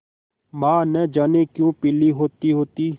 माँ न जाने क्यों पीली होतीहोती